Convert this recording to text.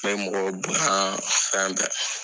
n bɛ mɔgɔw bonya fɛn bɛɛ.